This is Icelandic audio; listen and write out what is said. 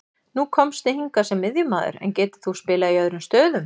Nú komstu hingað sem miðjumaður, en getur þú spilað í öðrum stöðum?